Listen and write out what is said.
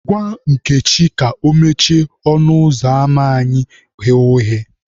Gwa Nkechi ka o mechie ọnụ ụzọ ama anyị ghe oghe